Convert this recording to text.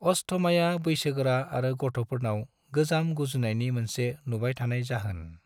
अस्थमाया बैसोगोरा आरो गथ'फोरनाव गोजाम गुजुनायनि मोनसे नुबाय थानाय जाहोन।